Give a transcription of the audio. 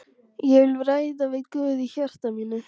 Ég vil ræða við Guð í hjarta mínu.